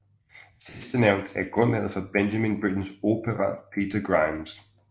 Sidstnævnte er grundlaget for Benjamin Brittens opera Peter Grimes